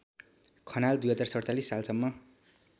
खनाल २०४७ सालसम्म